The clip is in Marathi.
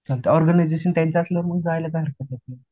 ऑर्गनायझेशन त्यांच्यातलं मग जायला काय हरकत आहे